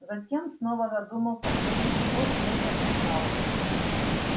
затем снова задумался после чего честно признался